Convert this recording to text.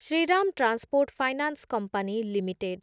Shriram transport finance company limited